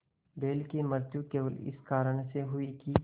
बैल की मृत्यु केवल इस कारण हुई कि